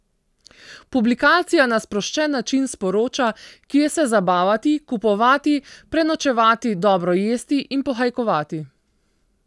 Publikacija na sproščen način sporoča, kje se zabavati, kupovati, prenočevati, dobro jesti in pohajkovati.